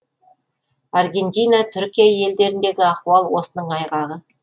аргентина түркия елдеріндегі ахуал осының айғағы